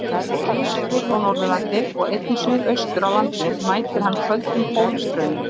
Út af Vestur- og Norðurlandi og einnig suðaustur af landinu mætir hann köldum pólstraumi.